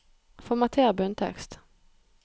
Formater bunntekst